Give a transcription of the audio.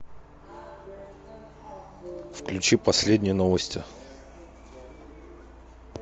включи последние новости